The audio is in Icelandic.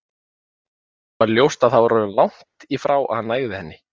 Það var ljóst að það var orðið langt í frá að hann nægði henni.